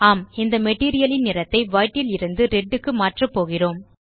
ஆம் இந்த மெட்டீரியல் ன் நிறத்தை வைட் லிருந்து ரெட் க்கு மாற்ற போகிறோம்